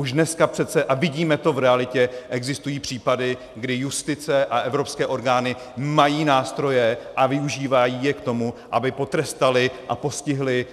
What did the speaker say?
Už dneska přece, a vidíme to v realitě, existují případy, kdy justice a evropské orgány mají nástroje a využívají je k tomu, aby potrestaly a postihly